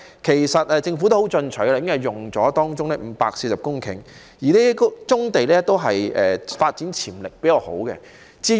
其實，政府已經很進取，動用了當中的540公頃，這些都是發展潛力較好的棕地。